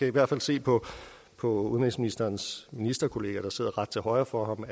i hvert fald se på på udenrigsministerens ministerkollega der sidder til højre for ham